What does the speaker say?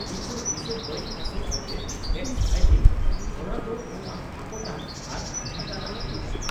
ᱤᱧ ᱫᱚ ᱛᱤᱥᱦᱚᱸ ᱵᱟᱹᱧ ᱟᱥᱚᱜᱼᱟ ᱡᱮ ᱴᱮᱹᱠᱥ ᱯᱷᱟᱭᱞᱤᱝ ᱦᱚᱨᱟ ᱫᱚ ᱵᱟᱝ ᱟᱠᱚᱴᱟᱱ ᱟᱨ ᱟᱡᱷᱟᱴ ᱟᱱᱟᱜ ᱦᱩᱭᱩᱜᱼᱟ ᱾